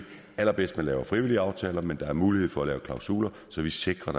allerbedst at man laver frivillige aftaler men der er mulighed for at lave klausuler så vi sikrer